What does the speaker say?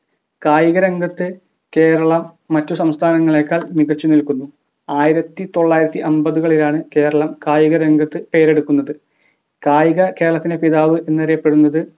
കായികരംഗത്ത് കേരളം മറ്റു സംസ്ഥാനങ്ങളേക്കാൾ മികച്ചു നിൽക്കുന്നു ആയിരത്തിതൊള്ളായിരത്തിഅമ്പതുകളിലാണ് കേരളം കായികരംഗത്ത് പേരെടുക്കുന്നത് കായിക കേരളത്തിൻ്റെ പിതാവ് എന്നറിയപ്പെടുന്നത്